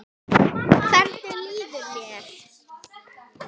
Hvernig líður mér?